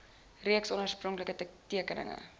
reeks oorspronklike tekeninge